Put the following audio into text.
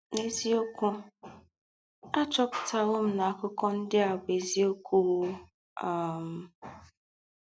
N’ézíọ́kú, à chọ́pụ̀tàwò na àkụ́kọ̀ ńdị́ à bú́ ézíọ́kú! um